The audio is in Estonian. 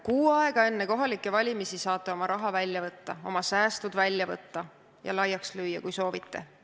Kuu aega enne kohalikke valimisi saate oma raha välja võtta, oma säästud välja võtta ja laiaks lüüa, kui soovite.